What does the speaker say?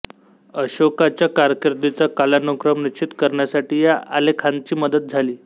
अशोकाच्या कारकीर्दीचा कालानुक्रम निश्चित करण्यासाठी या आलेखांची मदत झाली